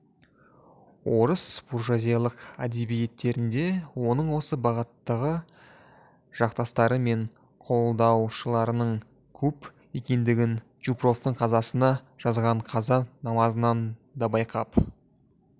орыс буржуазиялық әдебиеттерінде оның осы бағыттағы жақтастары мен қолдаушыларының көп екендігін чупровтың қазасына жазған қаза намазынан да байқап